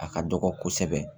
A ka dɔgɔ kosɛbɛ